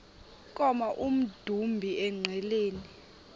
koma emdumbi engqeleni